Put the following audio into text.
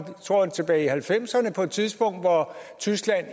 tror jeg tilbage i halvfemserne på et tidspunkt hvor tyskland